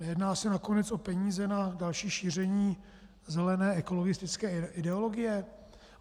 Nejedná se nakonec o peníze na další šíření zelené ekologistické ideologie?